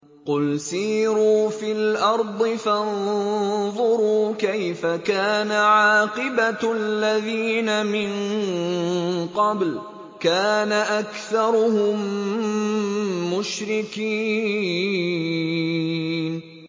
قُلْ سِيرُوا فِي الْأَرْضِ فَانظُرُوا كَيْفَ كَانَ عَاقِبَةُ الَّذِينَ مِن قَبْلُ ۚ كَانَ أَكْثَرُهُم مُّشْرِكِينَ